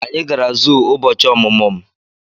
Anyị gara zuu ụbọchị ọmụmụ m.